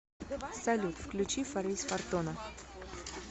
салют включи фариз фортуна